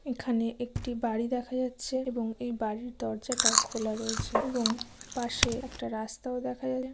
এখানে একটি বাড়ি দেখা যাচ্ছে এবং এই বাড়ির দরজা টা খোলা রয়েছে এবং পাশে একটা রাস্তাও দেখা যা--